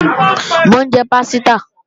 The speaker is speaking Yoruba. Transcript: Mò ń jẹ pásítà